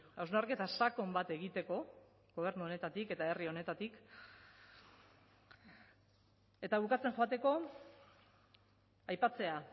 hausnarketa sakon bat egiteko gobernu honetatik eta herri honetatik eta bukatzen joateko aipatzea